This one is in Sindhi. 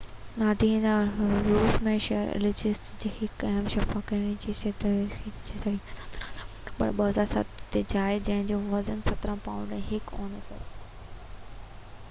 ناديا روس جي شهر ايليسڪ جي هڪ ويم شفاخاني ۾ سيزرين سيڪشن جي جي ذريعي 17 سيپٽمبر 2007 تي ڄائي جنهن جو وزن 17 پائونڊ ۽ 1 اونس هو